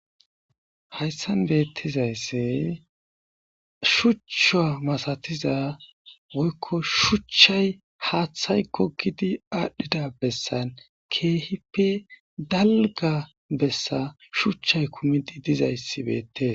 Hayssan beettizaysse shucha masatiza woykko shuchchay haaththay gogidi aadhdhida bessan keehippe dalgga bessa shuchchay kumidi dizayssi beettes.